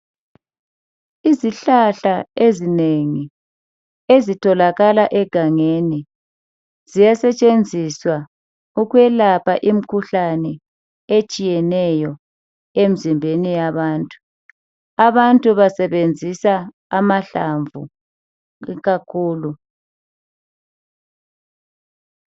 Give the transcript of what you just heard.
Izihlahla ezinengi ezitholakala egangeni ziyasetshenziswa ukwelapha imikhuhlane etshiyeneyo emzimbeni yabantu. Abantu basebenzisa amahlamvu ikakhulu.